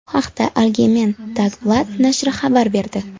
Bu haqda Algemeen Dagblad nashri xabar berdi .